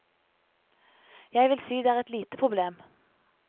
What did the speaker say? Jeg vil si det er et lite problem.